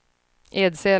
Edsele